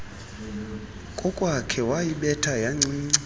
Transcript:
kokwakhe wayibetha yancinci